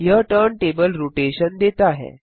यह turntable rotation देता है